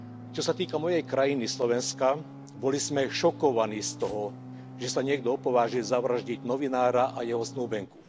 Čo sa týka mojej krajiny, Slovenska, boli sme šokovaní z toho, že sa niekto opovážil zavraždiť novinára a jeho snúbenicu.